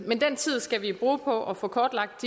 men den tid skal vi bruge på at få kortlagt